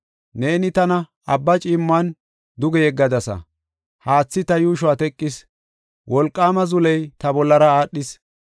Neeni tana abba ciimmuwan duge yeggadasa. Haathi ta yuushuwa teqis; wolqaama zuley ta bollara aadhis.